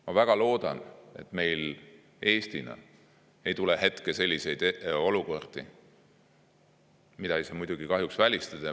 Ma väga loodan, et Eestil ei tule ette samasuguseid olukordi, aga seda ei saa muidugi kahjuks välistada.